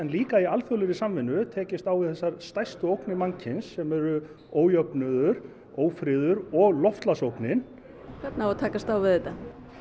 líka í alþjóðlegri samvinnu tekist á við þessar stærstu ógnir mannkyns sem eru ójöfnuður ófriður og loftslagsógnin hvernig á að takast á við þetta